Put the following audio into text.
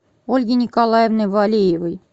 ольги николаевны валеевой